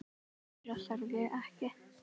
Meira þarf ég ekki.